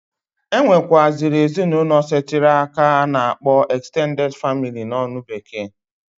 E nwekwuasiri ezinụlọ setiri aka a na akpọ extenteded family n'olu bekee.